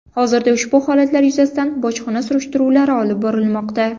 Hozirda ushbu holatlar yuzasidan bojxona surishtiruvlari olib borilmoqda.